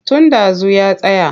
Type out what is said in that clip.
Tun ɗazu ya tsaya.